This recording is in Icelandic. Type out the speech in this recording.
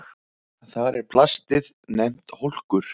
Þar er plastið nefnt hólkur.